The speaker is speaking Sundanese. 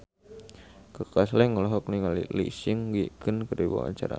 Kaka Slank olohok ningali Lee Seung Gi keur diwawancara